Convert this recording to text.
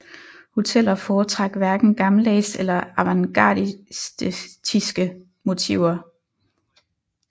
Hoteller foretrak hverken gammeldags eller avantgardistiske motiver